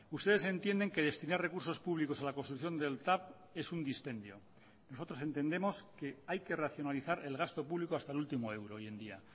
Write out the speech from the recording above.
ustedes entienden que destinar recursos públicos a la construcción del tav es un dispendio nosotros entendemos que hay que racionalizar el gasto público hasta el último euro hoy en día